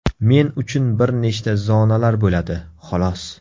Men uchun bir nechta zonalar bo‘ladi, xolos.